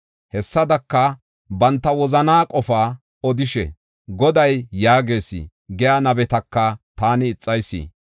Hessadaka, banta wozanaa qofaa odishe, ‘Goday yaagees’ giya nabetaka taani ixayis.